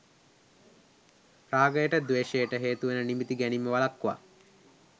රාගයට ද්වේෂයට හේතුවන නිමිති ගැනීම වළක්වා